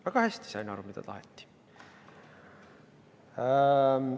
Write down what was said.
Väga hästi sain aru, mida taheti!